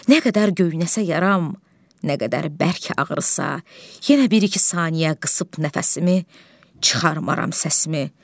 Nə qədər göynəsə yaram, nə qədər bərk ağrısa, yenə bir-iki saniyə qısıb nəfəsimi, çıxarmaram səsimi.